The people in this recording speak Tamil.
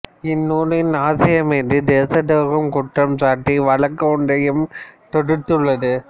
இந்த நூலின் ஆசிரியர் மீது தேசத் துரோகம் குற்றம் சாட்டி வழக்கு ஒன்றையும் தொடுத்துள்ளது